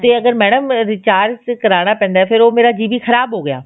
ਤੇ ਅਗਰ madam recharge ਕਰਵਾਉਣਾ ਪੈਂਦਾ ਤਾਂ ਮੇਰਾ ਉਹ GB ਖਰਾਬ ਹੋਗਿਆ